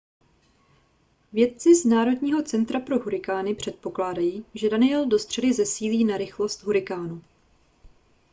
vědci z národního centra pro hurikány předpokládají že danielle do středy zesílí na rychlost hurikánu